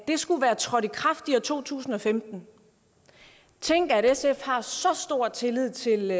det skulle være trådt i kraft i år to tusind og femten tænk at sf har så stor tillid til